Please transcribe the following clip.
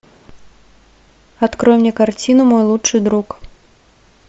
открой мне картину мой лучший друг